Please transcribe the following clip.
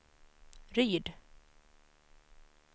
Ryd